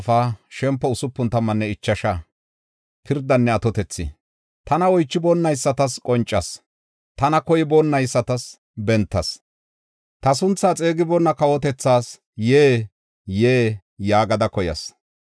“Tana oychiboonaysatas qoncas; tana koyboonaysatas bentas. Ta sunthaa xeegiboonna kawotethas, ‘Yee! Yee!’ yaagada koyas.